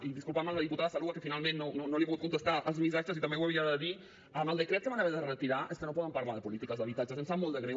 i disculpar me amb la diputada saloua que finalment no li he pogut contestar els missatges i també ho havia de dir amb el decret que van haver de retirar és que no poden parlar de polítiques d’habitatge em sap molt de greu